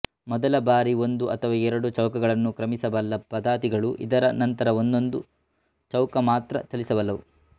ಮೊದಲ ಬಾರಿ ಒಂದು ಅಥವಾ ಎರಡು ಚೌಕಗಳನ್ನು ಕ್ರಮಿಸಬಲ್ಲ ಪದಾತಿಗಳು ಇದರ ನಂತರ ಒಂದೊಂದು ಚೌಕ ಮಾತ್ರ ಚಲಿಸಬಲ್ಲವು